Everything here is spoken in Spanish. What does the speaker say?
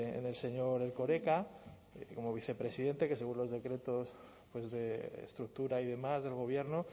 en el señor erkoreka como vicepresidente que según los decretos de estructura y demás del gobierno